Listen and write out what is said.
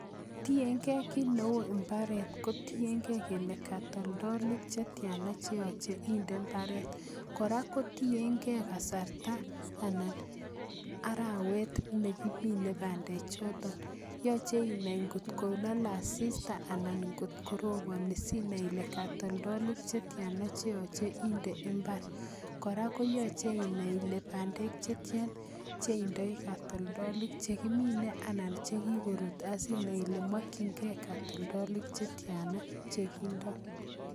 Tiengei kiit neo imbaaret, ko tiengei kaltoldolik che tiane cheyoche inde imbaaret. Kora kotiengei kasarta anan arawet nekiminei bandechoto, yochei inai ngotko laalei asista anan kot koroponi sinai ile katoltolik chetiana cheyoche indee imbaar. Kora, koyoche inai ile bandek chetya che indoi katoltolik chekimine anan che kikoruut asinai ile makchinikei katoldolik chetiana chekindoi.